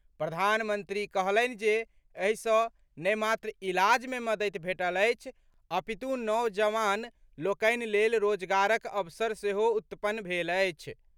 प्रधानमंत्री कहलनि जे एहि सॅ ने मात्र इलाज मे मददि भेटल अछि अपितु नवजवान लोकनि लेल रोजगारक अवसर सेहो उत्पन्न भेल अछि।